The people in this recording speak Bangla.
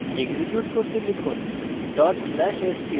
execute করতে লিখুন dot slash str